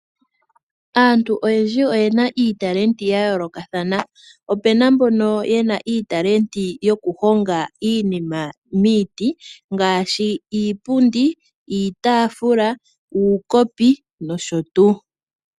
Aantu oyendji oyena uunongo wayoolokathana. Yamwe oyena uunongo mokuhonga iinima okuza miiti ngaashi iipundi, iitaafula, uukopi nosho tuu.